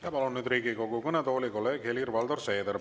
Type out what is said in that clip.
Ja palun nüüd Riigikogu kõnetooli kolleeg Helir-Valdor Seederi.